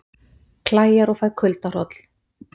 Klæjar og fæ kuldahroll